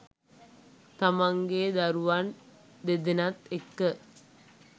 තමන්ගේ දරුවන් දෙදෙනත් එක්ක